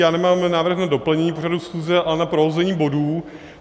Já nemám návrh na doplnění pořadu schůze, ale na prohození bodů.